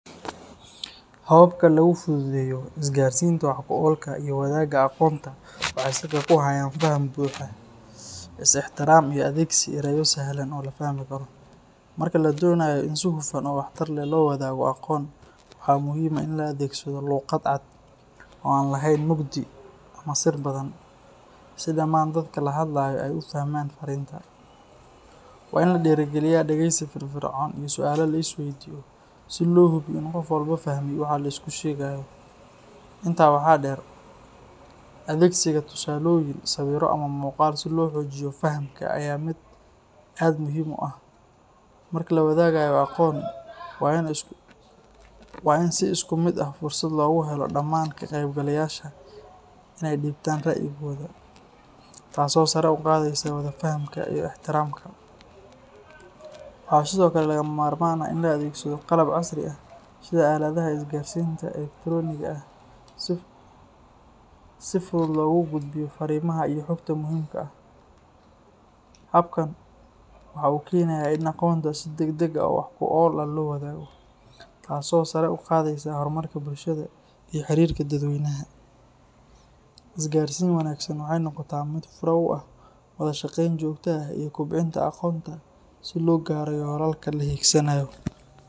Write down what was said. Hababka lagu fududeeyo isgaarsiinta wax ku oolka ah iyo wadaagga aqoonta waxay salka ku hayaan faham buuxa, is ixtiraam, iyo adeegsi erayo sahlan oo la fahmi karo. Marka la doonayo in si hufan oo waxtar leh loo wadaago aqoon, waxaa muhiim ah in la adeegsado luqad cad oo aan lahayn mugdi ama sir badan, si dhammaan dadka la hadlayo ay u fahmaan farriinta. Waa in la dhiirrigeliyaa dhegeysi firfircoon iyo su'aalo la isweydiiyo si loo hubiyo in qof walba fahmay waxa la isku sheegayo. Intaa waxaa dheer, adeegsiga tusaalooyin, sawirro, ama muuqaal si loo xoojiyo fahamka ayaa ah mid aad u muhiim ah. Marka la wadaagayo aqoon, waa in si isku mid ah fursad loogu helo dhammaan ka qaybgalayaasha in ay dhiibtaan ra'yigooda, taasoo sare u qaadaysa wada fahamka iyo ixtiraamka. Waxaa sidoo kale lagama maarmaan ah in la adeegsado qalab casri ah sida aaladaha isgaarsiinta elektarooniga ah si fudud loogu gudbiyo farriimaha iyo xogta muhiimka ah. Habkan waxa uu keenayaa in aqoonta si degdeg ah oo wax ku ool ah loo wadaago, taasoo sare u qaadaysa horumarka bulshada iyo xiriirka dadweynaha. Isgaarsiin wanaagsan waxay noqotaa mid fure u ah wada shaqayn joogto ah iyo kobcinta aqoonta si loo gaaro yoolalka la hiigsanayo